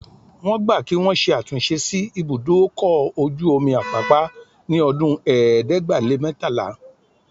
Wọ́n gbà kí wọn ṣe àtúnṣe sí ibùdó ọkọ̀ ojú omi Apápá ní ọdún ẹ̀ẹ́dẹ́gbàá-lé-mẹ́tàlá